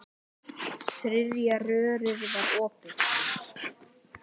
Þriðja rörið var opið.